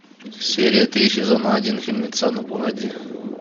серия три сезона один фильмеца ну погоди